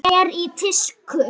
Kúba er í tísku.